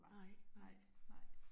Nej nej nej